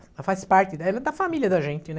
Ela faz parte ela é da família da gente, né?